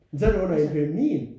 Men så er det under epidemien